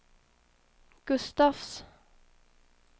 Gustafs